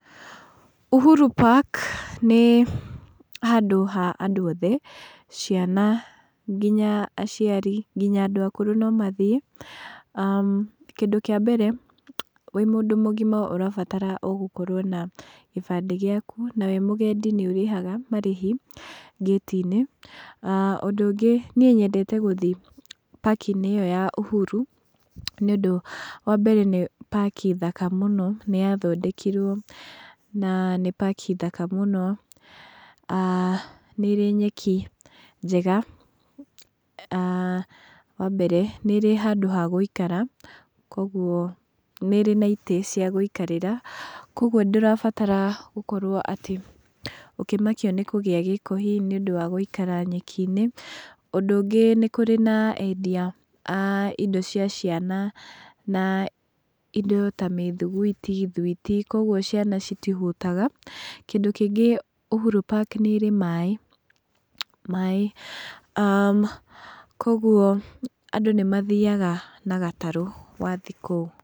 Uhuru Park nĩ handũ ha andũ othe, ciana nginya aciari, nginya andũ akũrũ nomathiĩ. Kĩndũ kĩambere, wĩ mũndũ mũgima ũrabatara o gũkorwo na gĩbandĩ gĩaku, na wĩ mũgendi nĩ ũrĩhaga marĩhi gate -inĩ. Ũndũ ũngĩ niĩ nyendete gũthiĩ park -inĩ ĩyo ya Uhuru nĩũndũ nĩ park njega mũno, nĩyathondekirwo na nĩ park njega muno wambere. Nĩ ĩrĩ handũ ha gũikara koguo nĩ ĩrĩ na itĩ cia gũikarĩra, koguo ndũrabatara gũkorwo atĩ ũkĩnakio nĩ kũgĩa gĩko hihi nĩũndũ wa gũikara nyeki-inĩ. Ũndũ ũngĩ nikũrĩ na endia a indo cia ciana, na indo ta mĩthuguiti, thuiti, koguo ciana citihũtaga. Ũndũ ũngĩ Uhuru Park nĩ ĩrĩ maaĩ, maaĩ koguo andũ nĩmathiaga na gatarũ wathiĩ kũu.